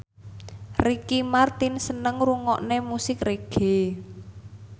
Ricky Martin seneng ngrungokne musik reggae